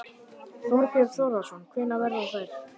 Þorbjörn Þórðarson: Hvenær verða þær?